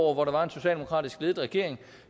år hvor der var en socialdemokratisk ledet regering